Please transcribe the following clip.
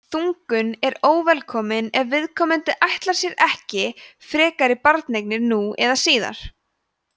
þungun er óvelkomin ef viðkomandi ætlaði sér ekki frekari barneign nú eða síðar